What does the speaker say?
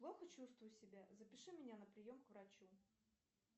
плохо чувствую себя запиши меня на прием к врачу